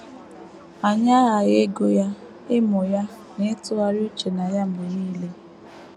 Anyị aghaghị ịgụ ya, ịmụ ya, na ịtụgharị uche na ya mgbe nile.